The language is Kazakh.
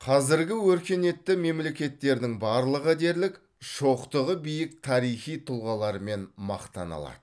қазіргі өркениетті мемлекеттердің барлығы дерлік шоқтығы биік тарихи тұлғаларымен мақтана алады